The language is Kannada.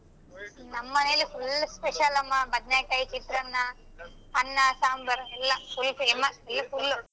ನಮ್ಮನೇಲ್ full special ಅಮ್ಮ ಬದ್ನೆಕಾಯ್ ಚಿತ್ರಾನ್ನ ಅನ್ನ ಸಾಂಬಾರ್ ಎಲ್ಲಾ full famous .